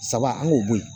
Saba an k'o bɔ yen